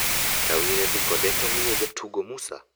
Kawire dhi kode to omiyo jatugo Musa .